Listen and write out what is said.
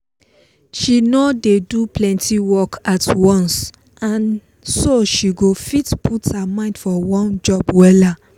she no dey do plenty work at once so she go fit put her mind for one job wella